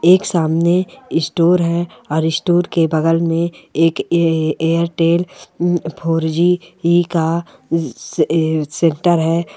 एक सामने स्टोर है और स्टोर के बगल में एक ए ऐ ऐ एयरटेल हम्म फोर जी ई का अ सेंटर है।